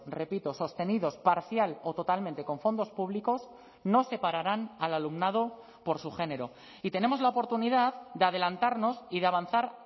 repito sostenidos parcial o totalmente con fondos públicos no separarán al alumnado por su género y tenemos la oportunidad de adelantarnos y de avanzar